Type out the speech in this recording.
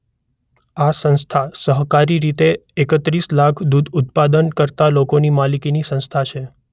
આ સંસ્થા સહકારી રીતે એકત્રીસ લાખ દૂધ ઉત્પાદન કરતાં લોકોની માલિકીની સંસ્થા છે.